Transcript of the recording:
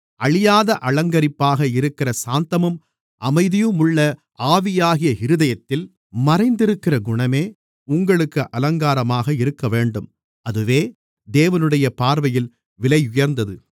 அழியாத அலங்கரிப்பாக இருக்கிற சாந்தமும் அமைதியுமுள்ள ஆவியாகிய இருதயத்தில் மறைந்திருக்கிற குணமே உங்களுக்கு அலங்காரமாக இருக்கவேண்டும் அதுவே தேவனுடைய பார்வையில் விலையுயர்ந்தது